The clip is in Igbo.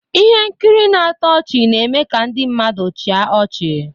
Ihe nkiri na-atọ ọchị na-eme ka ndị mmadụ chịa ọchị.